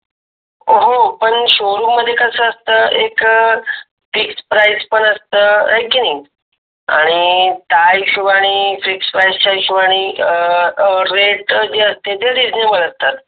अह हो पण शोरूम मध्ये कस असत एक अं फिक्स प्राईज पण असत हे कि नही आणि त्या हिसोबानी फिक्स प्राईज चा हिसोबानी अं अं रेट जे असत ते असतात.